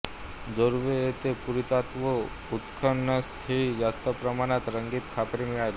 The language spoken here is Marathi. जोर्वे येथे पुरातत्त्वीय उत्खननस्तळी जास्त प्रमाणात रंगीत खापरे मिळाली